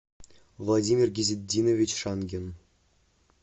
владимир гизетдинович шангин